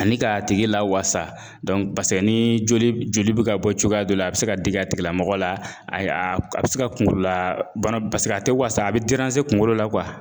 Ani ka tigi lawasa ni joli bɛ ka bɔ cogoya dɔ la a bɛ se ka digi a tigilamɔgɔ la a bɛ se ka kunkolo la bana a tɛ wasa a bɛ kungolo la